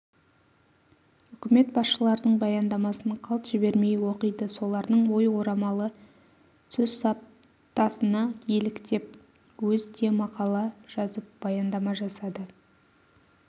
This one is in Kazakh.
үкімет басшыларының баяндамасын қалт жібермей оқиды солардың ой ораламы сөз саптасына еліктеп өз де мақала жазып баяндама жасады